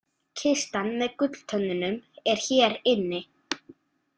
Kistan með gulltönnunum er hér inni